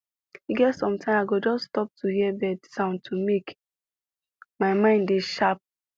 e get sometime i go just stop to hear bird sound to make my mind dey sharp